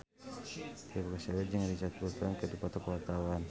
Tio Pakusadewo jeung Richard Burton keur dipoto ku wartawan